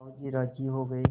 साहु जी राजी हो गये